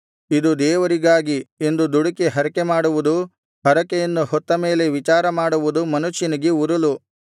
ಇದು ದೇವರಿಗಾಗಿ ಎಂದು ದುಡುಕಿ ಹರಕೆಮಾಡುವುದು ಹರಕೆಯನ್ನು ಹೊತ್ತಮೇಲೆ ವಿಚಾರಮಾಡುವುದು ಮನುಷ್ಯನಿಗೆ ಉರುಲು